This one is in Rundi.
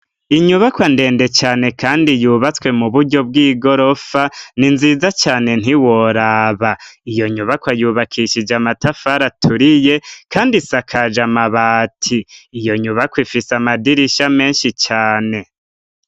inyubakwa ndende cane kandi yubatswe mu buryo bw'igorofa ni nziza cane ntiworaba iyo nyubakwa yubakishije amatafari aturiye kandi isakaje amabati iyo nyubakwa ifise amadirisha menshi cane